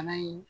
Bana in